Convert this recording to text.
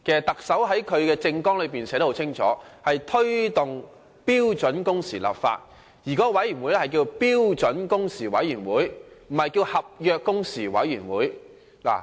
特首在其政綱內很清楚提出，要推動標準工時立法，而這個委員會的名稱是標準工時委員會而非合約工時委員會。